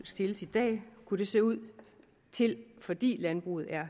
stilles i dag kunne det se ud til fordi landbruget er